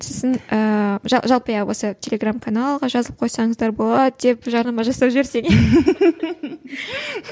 сосын ыыы жалпы иә осы телеграмм каналға жазылып қойсаңыздар болады деп жарнама жасап жіберсең иә